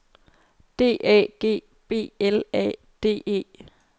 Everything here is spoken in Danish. D A G B L A D E